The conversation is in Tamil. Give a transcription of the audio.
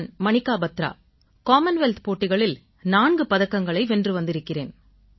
நான் மனிகா பத்ரா காமன்வெல்த் போட்டிகளில் 4 பதக்கங்களை வென்று வந்திருக்கிறேன்